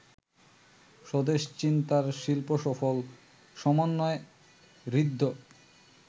স্বদেশ চিন্তার শিল্পসফল সমন্বয়ে ঋদ্ধ